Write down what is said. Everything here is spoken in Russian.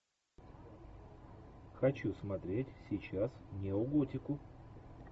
хочу смотреть сейчас неоготику